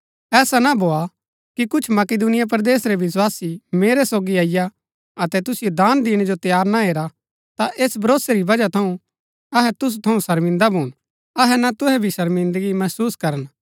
ऐसा ना भोआ कि कुछ मकिदुनिया परदेस रै विस्वासी मेरै सोगी अईआ अतै तुसिओ दान दिणै जो तैयार ना हेरा ता ऐस भरोसै री वजह थऊँ अहै तुसु थऊँ शर्मिन्दा भून अतै ना तुहै भी शर्मिन्दगी महसुस करन